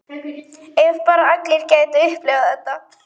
Ef bara allir gætu upplifað þetta.